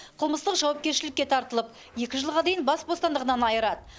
қылмыстық жауапкершілікке тартылып екі жылға дейін бас бостандығынан айырады